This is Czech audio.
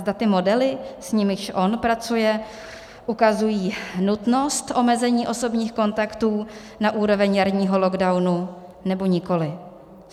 Zda ty modely, s nimiž on pracuje, ukazují nutnost omezení osobních kontaktů na úrovni jarního lockdownu, nebo nikoli.